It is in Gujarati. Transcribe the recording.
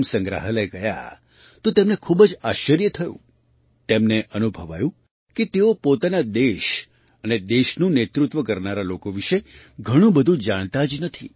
સંગ્રહાલય ગયા તો તેમને ખૂબ જ આશ્ચર્ય થયું તેમને અનુભવાયું કે તેઓ પોતાના દેશ અને દેશનું નેતૃત્વ કરનારા લોકો વિશે ઘણું બધું જાણતા જ નથી